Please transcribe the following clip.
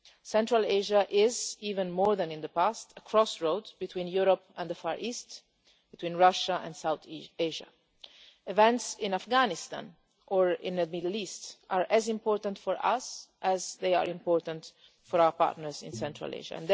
Central Asia is, even more than in the past, a crossroads between Europe and the Far East, between Russia and South East Asia. Events in Afghanistan or in the Middle East are as important for us as for our partners in Central Asia.